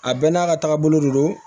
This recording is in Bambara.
A bɛɛ n'a ka taabolo de don